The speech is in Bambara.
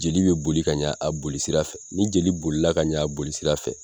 Jeli bɛ boli ka ɲa a joli sira fɛ, ni jeli bolila ka ɲa a boli sira fɛ